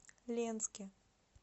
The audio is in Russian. ленске